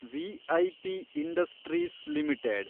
V I P industries limited